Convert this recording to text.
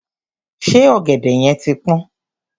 Ṣé ọ̀gẹ̀dẹ̀ yẹn ti pọ́n?